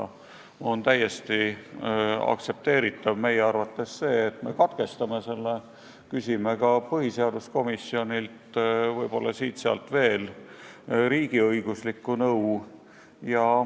Meie arvates on täiesti aktsepteeritav, et me katkestame lugemise ning küsime ka põhiseaduskomisjonilt ja võib-olla siit-sealt veel riigiõiguslikku nõu.